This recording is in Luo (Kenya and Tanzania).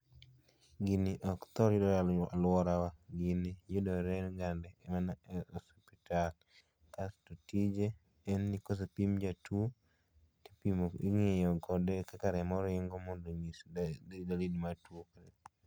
Gini ok thoo yudore e aluorawa, gini yudoregande mana e osuptal kasto tije en ni kosepim jatuo to ing'iyo kode kaka remo ringo mondo onyis dalili mar tuo